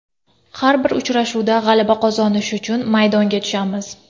Har bir uchrashuvda g‘alaba qozonish uchun maydonga tushamiz.